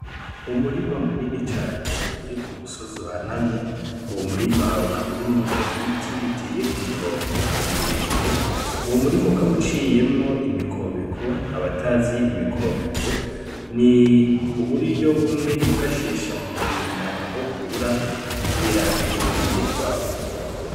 Umurima munini cane uri ku musozi uhanamye uwo murima ukaba urimwo ibiti biteye ku murongo birerebire uwo murima ukaba uciyeko imikobeko abatazi imikobeko ni uburyo bumwe biifashisha mu kurinda inkukura kugira indimo ntizitwarwe.